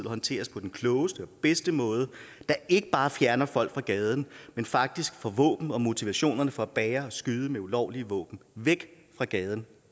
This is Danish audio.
håndteres på den klogeste og bedste måde der ikke bare fjerner folk fra gaden men faktisk får våben og motivationen for at bære og skyde med ulovlige våben væk fra gaden